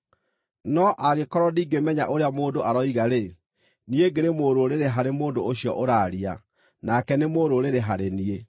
No angĩkorwo ndingĩmenya ũrĩa mũndũ aroiga-rĩ, niĩ ngĩrĩ mũrũrĩrĩ harĩ mũndũ ũcio ũraaria, nake nĩ mũrũrĩrĩ harĩ niĩ.